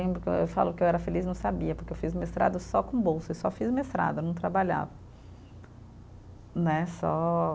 Lembro que eu, eu falo que eu era feliz, não sabia, porque eu fiz mestrado só com bolsa, eu só fiz mestrado, eu não trabalhava, né só.